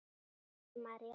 Linda María.